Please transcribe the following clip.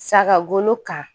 Sagaga golo kan